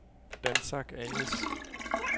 Dansac A/S